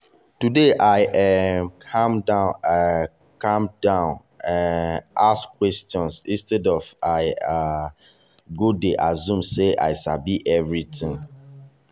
today i um calm down um calm down um ask question instead wey i um go dey assume sey i sabi everything.